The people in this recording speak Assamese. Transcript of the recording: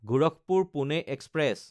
গোৰখপুৰ–পুনে এক্সপ্ৰেছ